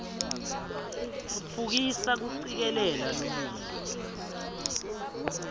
tfutfukisa kucikelela lulwimi